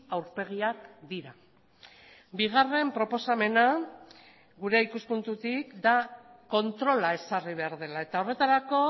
aurpegiak dira bigarren proposamena gure ikuspuntutik da kontrola ezarri behar dela eta horretarako